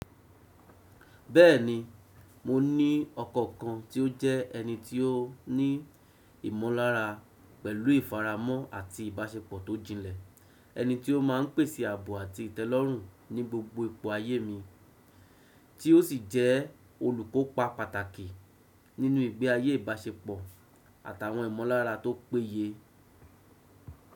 Bẹ́ẹ̀ni, mo ní ọkọ kan tí ó jẹ́ ẹni tí ó ní ìmọ̀lára pẹ̀lú ìfaramọ́ àti ìbáṣepọ̀ tó jinlẹ̀, ẹni tí ó máa ń pèsè àbọ̀ àti ìtẹ́lọ́rùn ní gbogbo ipò ayé mi, tí ó sì jẹ́ olùkópa pàtàkì nínú ìgbé ayé ìbáṣepọ̀ àtàwọn ìmọ̀lára tó péye.